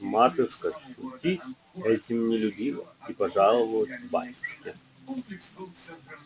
матушка шутить этим не любила и пожаловалась батюшке